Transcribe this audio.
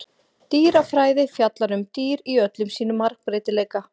Dýrafræði fjallar um dýr í öllum sínum margbreytileika.